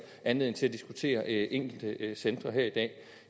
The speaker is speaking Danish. anledning til at diskutere enkelte centre her i dag